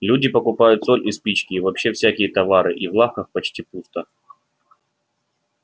люди покупают соль и спички и вообще всякие товары и в лавках почти пусто